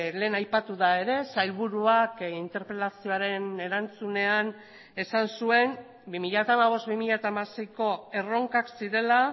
lehen aipatu da ere sailburuak interpelazioaren erantzunean esan zuen bi mila hamabost bi mila hamaseiko erronkak zirela